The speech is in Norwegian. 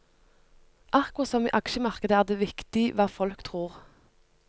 Akkurat som i aksjemarkedet er det viktig hva folk tror.